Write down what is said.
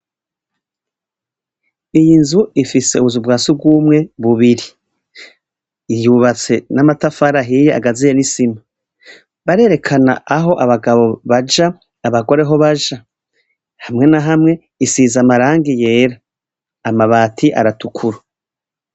Iyi nzu ifise ubuzu bwasugumwe bubiri. Yubatse n'amatafari ahiye agaziye n'isima. Barerekana aho abagabo baja, abagore aho baja. Hamwe na hamwe isiz'amarangi yera amabati aratukura.